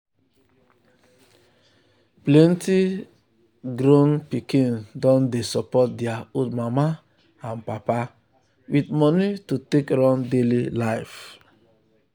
plenty grown pikin don dey support their old mama and papa with with money to take run daily life.